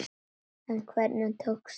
En hvernig tókst það þá?